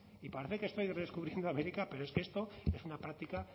y parece que estoy redescubriendo américa pero es que esto es una práctica